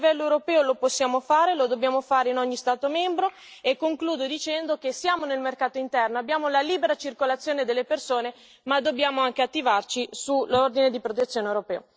Qui a livello europeo lo possiamo fare, come dobbiamo farlo in ogni Stato membro e concludo dicendo che sì, esiste il mercato interno, esiste la libera circolazione delle persone ma dobbiamo anche attivarci sull'ordine di protezione europeo.